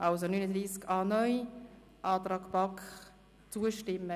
– Das scheint der Fall zu sein.